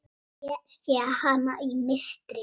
Ég sé hana í mistri.